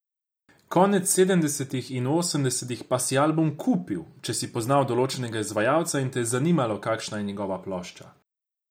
Konec sedemdesetih in v osemdesetih pa si album kupil, če si poznal določenega izvajalca in te je zanimalo, kakšna je njegova nova plošča.